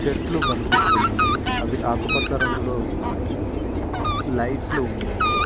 చెట్లు కనిపిస్తున్నాయి అవి ఆకుపచ్చ రంగులో ఉన్నాయి లైట్లు ఉన్నాయి.